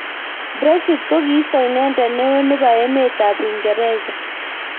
Brexit kokiisto inendet neo nebo emet ab Uingereza.